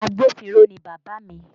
Agbófinró ni Bàbá mi